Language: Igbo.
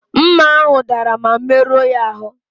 Mma ahụ dara ma merụọ ya ahụ.